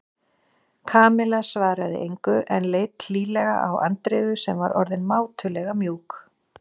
Kamilla svaraði engu en leit hlýlega á Andreu sem var orðin mátulega mjúk.